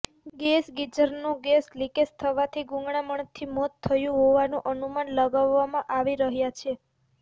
gas ગીઝરનો gas leakage થવાથી ગૂંગળામણથી મોત થયું હોવાનું અનુમાન લગાવવામાં આવી રહ્યાં છે